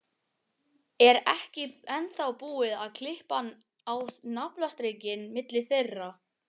Er ekki ennþá búið að klippa á naflastrenginn milli þeirra?